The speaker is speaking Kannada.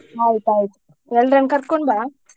ಆಯ್ತ್ ಆಯ್ತ್ ಎಲ್ಲರನ್ನ ಕರ್ಕೊಂಡ್ ಬಾ.